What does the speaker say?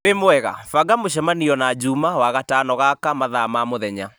wĩ mwega banga mũcemanio na juma wagatano gaka mathaa ma mũthenya